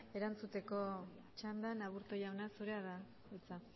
erantzuteko txandan aburto jauna zurea da hitza